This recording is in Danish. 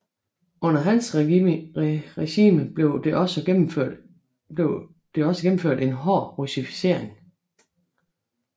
Under hans regime blev det også gennemført en hård russificering